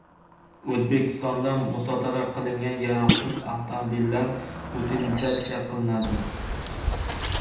O‘zbekistonda musodara qilingan yaroqsiz avtomobillar utilizatsiya qilinadi.